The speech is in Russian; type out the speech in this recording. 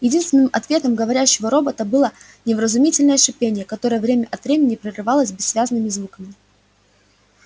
единственным ответом говорящего робота было невразумительное шипение которое время от времени прерывалось бессвязными звуками